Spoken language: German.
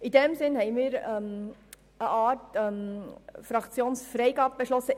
In diesem Sinn haben wir als Fraktion Stimmfreigabe beschlossen.